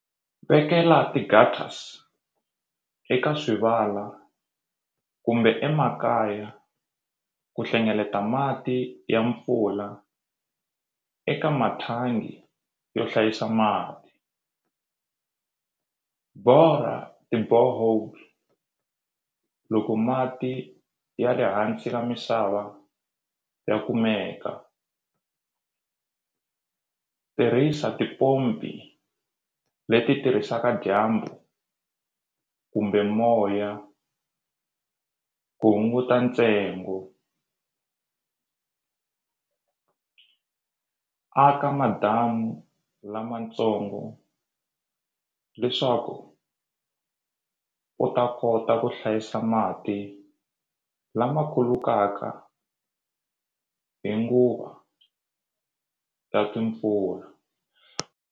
Vekela eka swivala kumbe emakaya ku hlengeleta mati ya mpfula eka mathangi yo hlayisa mati borha ti-borehole loko mati ya ri hansi ka misava ya kumeka tirhisa tipompi leti tirhisaka dyambu kumbe moya ku hunguta ntsengo aka madamu lamatsongo leswaku u ta kota ku hlayisa mati lama khulukaka hi nguva ya timpfula.